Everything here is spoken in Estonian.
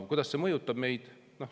Kuidas see meid mõjutab?